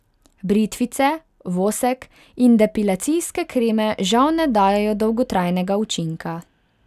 Britvice, vosek in depilacijske kreme žal ne dajejo dolgotrajnega učinka.